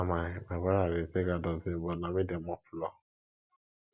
na my my brother dey take out dustbin but na me dey mop floor